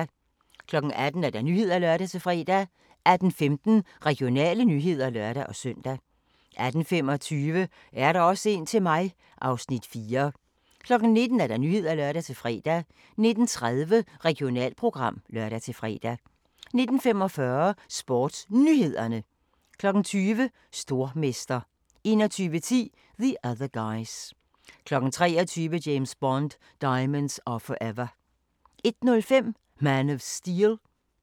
18:00: Nyhederne (lør-fre) 18:15: Regionale nyheder (lør-søn) 18:25: Er der også en til mig? (Afs. 4) 19:00: Nyhederne (lør-fre) 19:30: Regionalprogram (lør-fre) 19:45: SportsNyhederne 20:00: Stormester 21:10: The Other Guys 23:00: James Bond: Diamonds Are Forever 01:05: Man of Steel